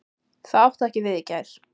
Það átti ekki við í gær.